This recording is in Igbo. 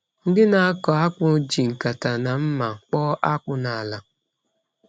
Ndị na-akọ akpụ ji nkata na mma kpọọ akpụ n’ala.